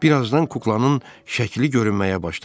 Bir azdan kuklanın şəkli görünməyə başladı.